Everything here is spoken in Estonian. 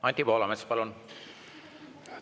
Anti Poolamets, palun!